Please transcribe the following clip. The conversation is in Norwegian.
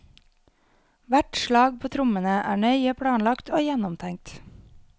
Hvert slag på trommene er nøye planlagt og gjennomtenkt.